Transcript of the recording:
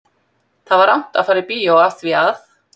Það var rangt að fara í bíó af því að